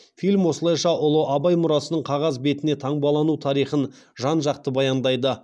фильм осылайша ұлы абай мұрасының қағаз бетіне таңбалану тарихын жан жақты баяндайды